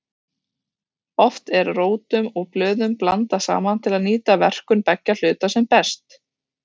Oft eru rótum og blöðum blandað saman til að nýta verkun beggja hluta sem best.